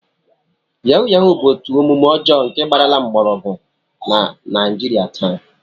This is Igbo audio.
Yahuu yahuu bụ otu omume ọjọọ nke gbarala nnukwu mgbọrọgwụ na Naijiria taa